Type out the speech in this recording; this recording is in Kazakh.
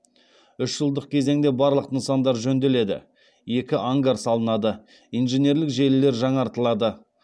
үш жылдық кезеңде барлық нысандар жөнделеді екі ангар салынады инженерлік желілер жаңартылады